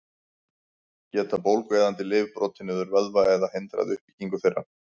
Geta bólgueyðandi lyf brotið niður vöðva eða hindrað uppbyggingu þeirra?